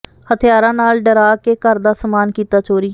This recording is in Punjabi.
ਹਥਿਆਰਾਂ ਨਾਲ ਡਰਾ ਕੇ ਘਰ ਦਾ ਸਮਾਨ ਕੀਤਾ ਚੋਰੀ